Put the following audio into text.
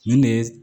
Nin de ye